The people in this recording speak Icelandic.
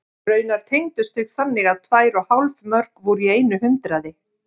Raunar tengdust þau þannig að tvær og hálf mörk voru í einu hundraði.